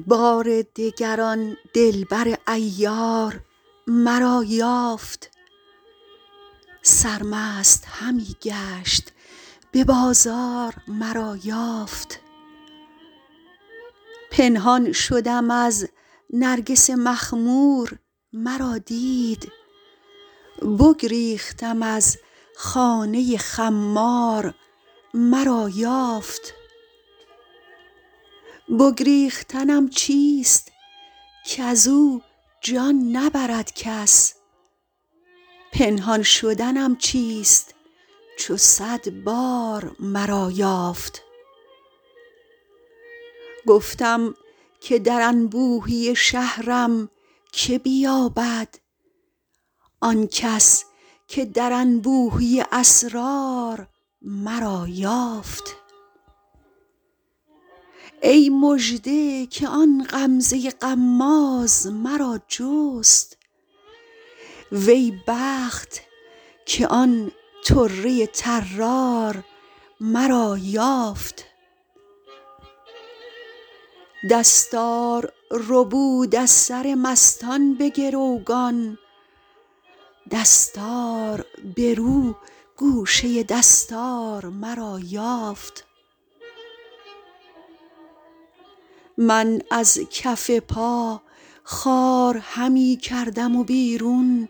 بار دگر آن دلبر عیار مرا یافت سرمست همی گشت به بازار مرا یافت پنهان شدم از نرگس مخمور مرا دید بگریختم از خانه خمار مرا یافت بگریختنم چیست کز او جان نبرد کس پنهان شدنم چیست چو صد بار مرا یافت گفتم که در انبوهی شهرم که بیابد آن کس که در انبوهی اسرار مرا یافت ای مژده که آن غمزه غماز مرا جست وی بخت که آن طره طرار مرا یافت دستار ربود از سر مستان به گروگان دستار برو گوشه دستار مرا یافت من از کف پا خار همی کردم بیرون